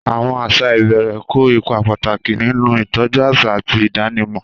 Àwọn àṣà ìbẹ̀rẹ̀ kó ipa pàtàkì nínú ìtọ́jú àṣà àti ìdánimọ̀.